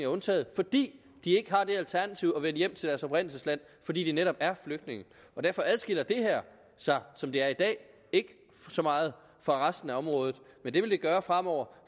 undtaget fordi de ikke har det alternativ at kunne vende hjem til deres oprindelsesland fordi de netop er flygtninge derfor adskiller det her sig som det er i dag ikke så meget fra resten af området men det vil det gøre fremover